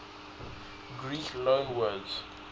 greek loanwords